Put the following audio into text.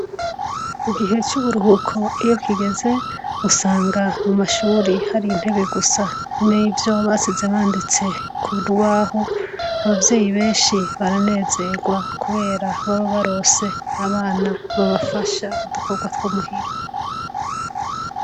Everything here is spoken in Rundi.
Igihe c'uburuhuko iyi kigeze usanga mumashuri hari intebe gusa n'ivyo basize banditse kurubaho. Abavyeyi benshi baranezerwa kubera baba baronse abana babafasha udukorwa two myhira.